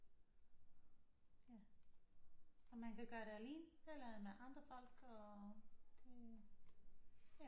Ja og man kan gøre det alene eller med andre folk og det ja